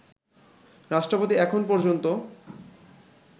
রাষ্ট্রপতি এখন পর্যন্ত